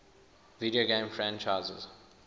video game franchises